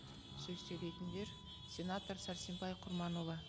сөз сөйлейтіндер сенатор сәрсенбай құрманұлы